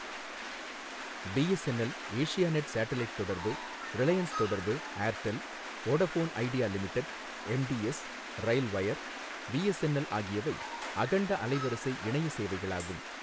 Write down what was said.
BSNL, Asianet satellite தொடர்பு, ரிலையன்ஸ் தொடர்பு, Airtel, Vodafone Idea Limited, MTS, RailWire, VSNL ஆகியவை அகண்ட அலைவரிசை இணைய சேவைகளாகும்.